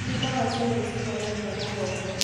Ti ndawa ciothe cihonagia mũgongo